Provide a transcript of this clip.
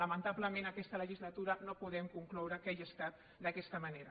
lamentablement en aquesta legislatura no podem concloure que hagi estat d’aquesta manera